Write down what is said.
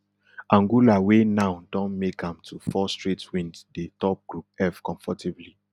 angola wey now don make am to four straight wins dey top group f comfortably